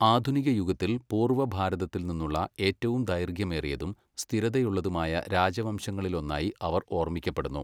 ആധുനിക യുഗത്തിൽ, പൂർവ്വ ഭാരതത്തിൽ നിന്നുള്ള ഏറ്റവും ദൈർഘ്യമേറിയതും സ്ഥിരതയുള്ളതുമായ രാജവംശങ്ങളിലൊന്നായി അവർ ഓർമ്മിക്കപ്പെടുന്നു.